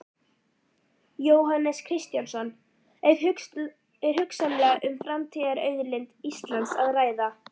Jóhannes Kristjánsson: Er hugsanlega um framtíðarauðlind Íslands að ræða?